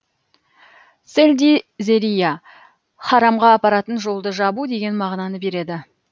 селди зерия харамға апаратын жолды жабу деген мағынаны береді